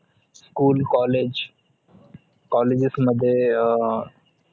schoolcollege colleges मध्ये